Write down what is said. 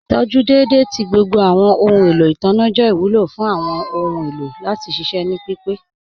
Ìtọjú dẹ́edẹ̀ tì gbogbo awọn ọhun èlò itanna jẹ́ ìwúlọ̀ fún awọn ọhun èlò láti ṣiṣẹ̀ ní pípẹ̀.